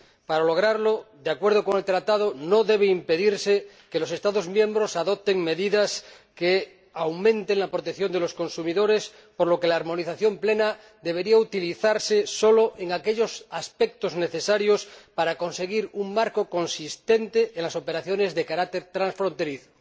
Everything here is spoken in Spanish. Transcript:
Para lograrlo de acuerdo con el Tratado, no debe impedirse que los Estados miembros adopten medidas que aumenten la protección de los consumidores, por lo que la armonización plena debería utilizarse solo en aquellos aspectos necesarios para conseguir un marco consistente en las operaciones de carácter transfronterizo.